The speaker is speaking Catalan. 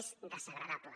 és desagradable